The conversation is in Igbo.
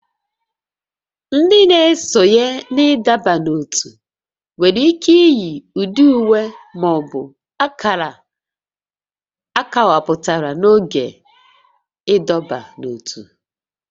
Ndị ga esonye na ịdọba n'ótú nwere ike iyi ụdị uwe ma ọ bụ akara akọwapụtara n'oge ịdọba n'ótú